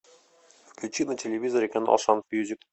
включи на телевизоре канал шант мьюзик